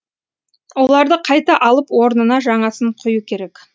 оларды қайта алып орнына жаңасын құю керек